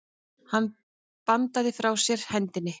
Hann bandaði frá sér hendinni.